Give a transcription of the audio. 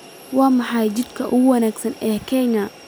Waa maxay jidka ugu wanaagsan ee Kenya?